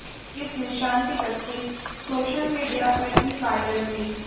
इस निशान की तस्वीर सोशल मीडिया पर भी वायरल हुई